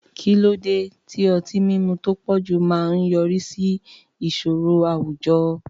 Kí ló dé tí ọtí mímu tó pọ̀jù máa ń yọrí sí ìṣòro àwùjọ?